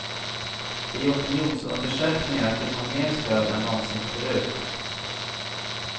I opinionsundersökningar fick hon mer stöd än någonsin förut.